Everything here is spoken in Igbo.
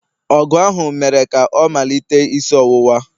ọgụ ahụ mere ka ọ malite isi ọwụwa.